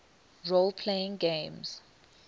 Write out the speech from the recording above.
role playing games